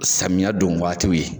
Samiya don waatiw ye.